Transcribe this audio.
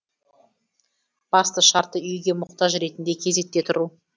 басты шарты үйге мұқтаж ретінде кезекте тұру